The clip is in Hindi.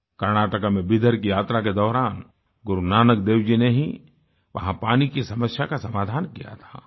कर्नाटका में बिदर की यात्रा के दौरान गुरुनानक देव जी ने ही वहां पानी की समस्या का समाधान किया था